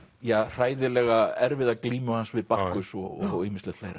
hræðilega erfiða glímu hans við Bakkus og ýmislegt fleira